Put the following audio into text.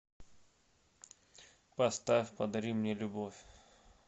поставь подари мне любовь